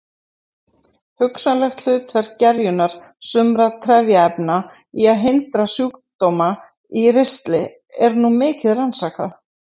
Hugsanlegt hlutverk gerjunar sumra trefjaefna í að hindra sjúkdóma í ristli er nú mikið rannsakað.